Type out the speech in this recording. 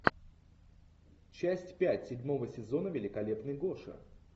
часть пять седьмого сезона великолепный гоша